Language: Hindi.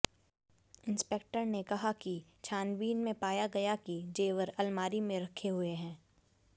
इंस्पेक्टर ने कहा कि छानबीन में पाया गया कि जेवर आलमारी में रखे हुए हैं